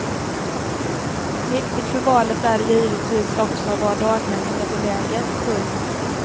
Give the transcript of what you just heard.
Viktigt för valet är givetvis också var daghemmet är beläget. punkt